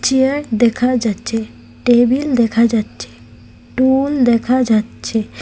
Chair দেখা যাচ্ছে table দেখা যাচ্ছে টুল দেখা যাচ্ছে।